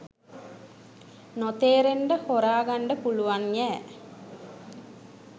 නොතේරෙන්ඩ හොරාගන්ඩ පුළුවන්යෑ